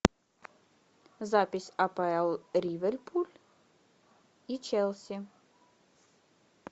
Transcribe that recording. запись апл ливерпуль и челси